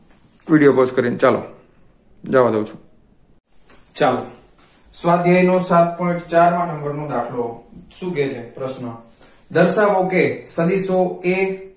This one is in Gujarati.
એ વિડીયો પોસ્ટ કરીને ચાલો જવાદાવછું ચાલો સ્વાધ્યાયનો સાત point ચાર માં number નો દાખલો શું કહે છે પ્રશ્ન દર્શાવો કે સદીશો એ